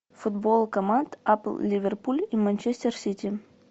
футбол команд апл ливерпуль и манчестер сити